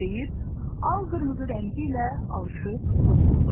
deyib al-qırmızı rəngi ilə alışib yox oldu.